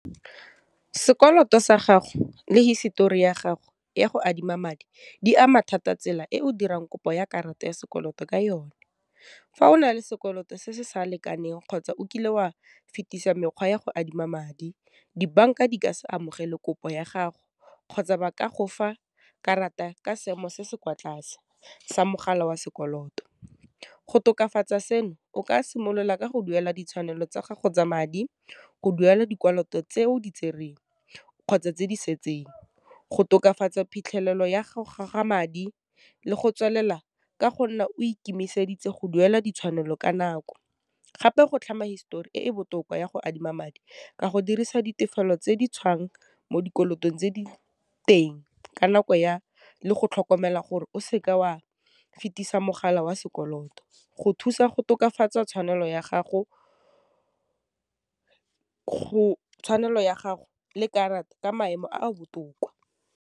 Sekoloto sa gago le hisitori ya gago ya go adima madi di ama thata tsela e o dirang kopo ya karata ya sekoloto ka yone, fa o na le sekoloto se se sa lekaneng kgotsa o kile wa fetisa mekgwa ya go adima madi, dibank-a di ka se amogele kopo ya gago, kgotsa ba ka go fa karata ka seemo se se kwa tlase sa mogala wa sekoloto. Go tokafatsa seno, o ka simolola ka go duela ditshwanelo tsa gago tsa madi, go duela dikoloto tseo di tsereng, kgotsa tse di setseng, go tokafatsa phitlhelelo ya go goga madi le go tswelela ka go nna o ikemiseditse go duela ditshwanelo ka nako, gape go tlhama histori e e botoka ya go adima madi ka go dirisa ditefelelo tse di tswang mo dikolotong tse di teng ka nako le go tlhokomela gore o seke wa fetisa mogala wa sekoloto, go thusa go tokafatsa tshwanelo ya gago ka maemo a a botoka.